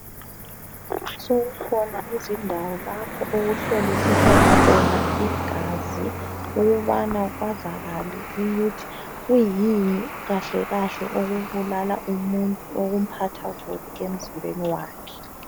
Sokukhona izindawo lapho okuhlolisiswa khona igazi ukubana kwazakale ukuthi kuyini kahle kahle okubulala umuntu okumphatha kubi emzimbeni wakhe.